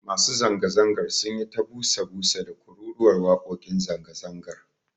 Masu zanga-zangar sun yi ta busa busa da kururuwar wakokin zanga-zangar.